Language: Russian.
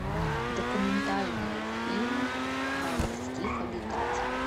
документальные фильмы о морских обитателях